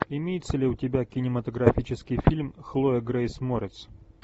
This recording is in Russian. имеется ли у тебя кинематографический фильм хлоя грейс морец